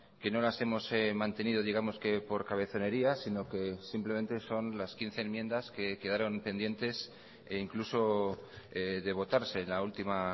que no las hemos mantenido digamos que por cabezonería sino que simplemente son las quince enmiendas que quedaron pendientes e incluso de votarse en la última